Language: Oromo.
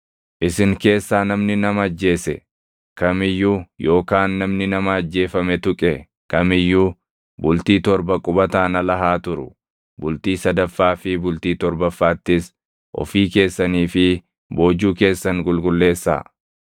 “Isin keessaa namni nama ajjeese kam iyyuu yookaan namni nama ajjeefame tuqe kam iyyuu bultii torba qubataan ala haa turu. Bultii sadaffaa fi bultii torbaffaattis ofii keessanii fi boojuu keessan qulqulleessaa.